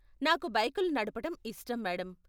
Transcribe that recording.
నాకు బైకులు నడపటం ఇష్టం, మేడం.